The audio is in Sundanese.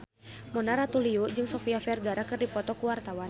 Mona Ratuliu jeung Sofia Vergara keur dipoto ku wartawan